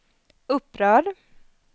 upprörd